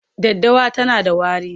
Daddawa tana da wari.,